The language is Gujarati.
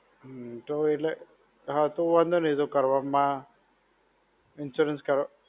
હમ્મ તો એટલે, હા તો વાંધો નહિ તો કરવામાં, insurance કરવામાં.